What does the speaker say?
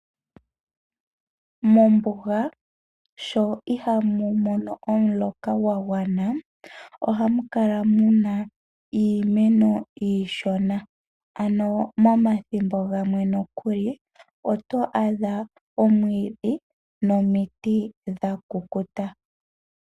Mombuga sho ihamu mono omuloka gwagwana ohamu kala muna iimeno iishona. Momathimbo gamwe nokuli oto adha omwiidhi nomiti dhakukuta.